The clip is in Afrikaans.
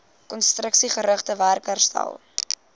konstruksiegerigte werk herstel